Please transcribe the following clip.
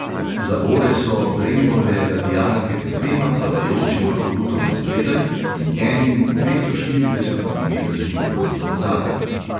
Zavore so brembove radialke z dvema plavajočima kolutoma spredaj in enim dvestoštiridesetmilimetrskim kolutom zadaj.